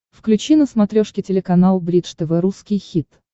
включи на смотрешке телеканал бридж тв русский хит